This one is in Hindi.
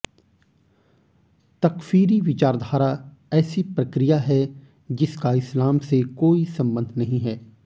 तकफ़ीरी विचारधारा ऐसी प्रक्रिया है जिसका इस्लाम से कोई संबंध नहीं है